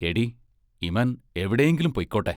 എടീ ഇമൻ എവിടെയെങ്കിലും പോയ്ക്കോട്ടെ.